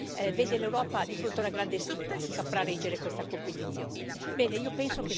Tutto questo vede l'Europa di fronte a una grande sfida se saprà reggere questa competizione.